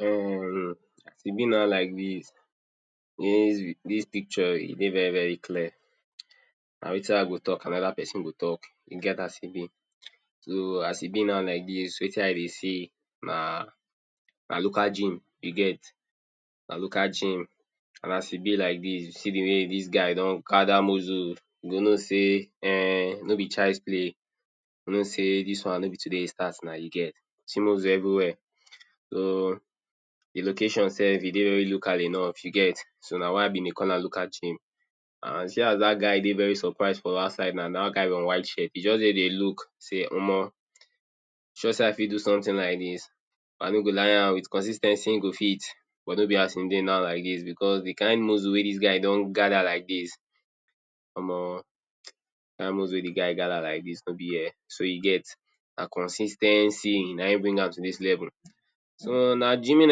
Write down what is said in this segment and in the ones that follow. um Shebi na like dis? Dis picture e dey very very clear. Na wetin I go talk another pesin go talk. E get as e be. So, as e be now like dis, wetin I dey see na na local gym, you get? Na local gym. And as e be like dis, you see the way dis guy don gather muscle — you know say um No be child’s play. You go know say dis one no be today e start now. You get? See muscle everywhere. So, the location sef e dey very local enough, you get so Na why I been dey call am local gym. See as dat guy dey very surprise for outside na — dat guy on white shirt. E just dey dey look say, “Omo! You sure say I fit do something like dis” I no go lie, am — with consis ten cy e go fit, but no be as e dey now, because the kin muscle wey dis guy don gather like dis, omo! Dat muscle wey the guy gather like dis no be here, so you get? Na consis ten cy na him bring am to dis level. So, na gyming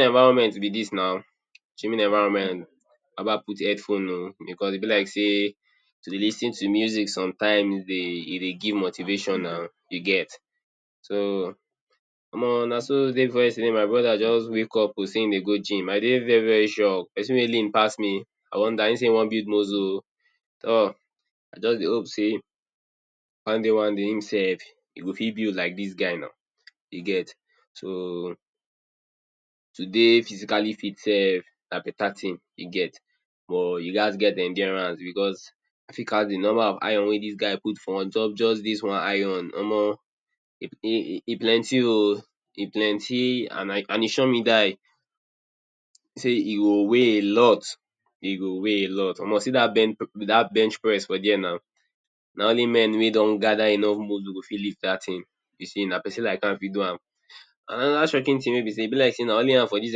environment be dis na. Gyming environment. Baba put headphone oh! Because e be like say to dey lis ten to music sometimes e dey e dey give motivation na. You get? So, omo! Naso day before yesterday my broda just wake up say e dey go gym. I dey very very sure… pesin wey lean pass me. I wonder! E say e wan build muscle oh! um I just dey hope say one day one day im sef go fit build like dis guy now. You get? So, to dey physically fit sef na beta tin. You get? But you gats get endurance. Because I fit count the number of iron wey dis guy put for on top just dis one iron. Omo! E plenty oh! e plenty And e shock me die. Say e go weigh a lot. E go weigh a lot. Omo You see dat bench press for there now — na only men wey don gather enough muscle go fit lift dat tin. You see, na pesin like am fit do am. Another shocking tin say, e be like say na only am for dis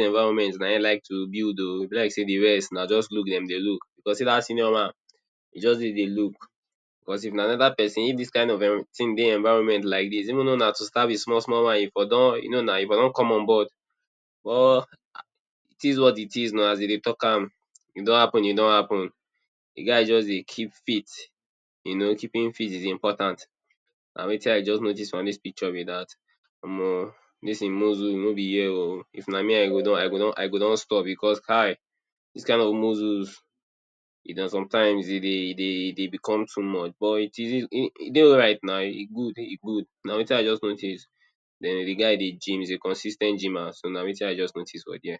environment like to build oh! E be like say de rest na just look dem dey look. Because see dat senior man, e just dey dey look. Because if na another pesin, if dis tin dey e environment like dis — even though na to start with small small ones e for don you know na. E for don come onboard. But, it is what it is na, as dey dey talk am. E don happen, e don happen. The guy just dey keep fit. You know, keeping fit is important. Na wetin I just notice for dis picture be dat. Omo! Dis e muscle no be here oh! If na me, I go don I go don I go don stop because kai! Dis kin of muscles sometimes e dey e dey e dey become too much, but e dey alright na. E good, e good. Na wetin I just notice. The guy dey gym. He is a consis ten t gymer so na wetin I just notice for dere